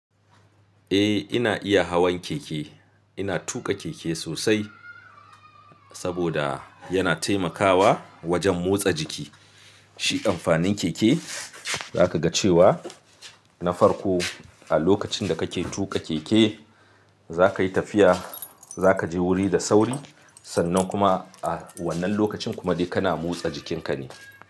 Eh ina iya hawan keke. Ina tuƙa keke sosai saboda yana taimakawa wajen motsa jiki. Shi amfanin keke zaka ga cewa na farko a lokacin da kake tuƙa keke zakayi tafiya, zaka je wuri da sauri sannan kuma a wannan lokacin kuma dai kana motsa jikinka ne.